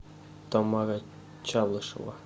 тамара чалышева